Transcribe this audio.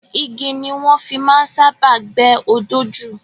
Igi ni wọ́n fi máa ń sábáà gbẹ́ odó jù.